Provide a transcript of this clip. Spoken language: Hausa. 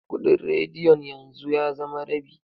Kuɗin radiyon yanzu ya zama rabi.